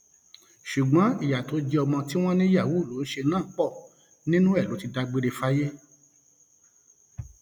ṣùgbọn ìyá tó jẹ ọmọ tí wọn ní yahoo ló ń ṣe náà pọ nínú ẹ ló ti dágbére fáyé